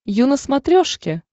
ю на смотрешке